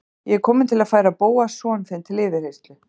Ég er kominn til að færa Bóas son þinn til yfirheyrslu